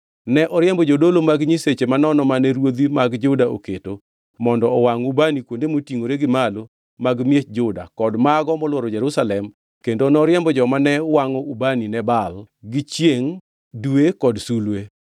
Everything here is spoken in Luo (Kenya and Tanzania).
Ne oriembo jodolo mag nyiseche manono mane ruodhi mag Juda oketo mondo owangʼ ubani kuonde motingʼore gi malo mag miech Juda kod mago molworo Jerusalem kendo noriemb joma ne wangʼo ubani ne Baal, gi chiengʼ, dwe kod sulwe.